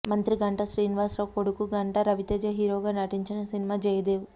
మంత్రి గంటా శ్రీనివాసరావు కొడుకు గంటా రవితేజ హీరోగా నటించిన సినిమా జయదేవ్